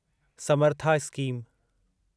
Samartha scheme